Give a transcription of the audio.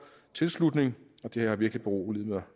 tilslutning det har virkelig beroliget mig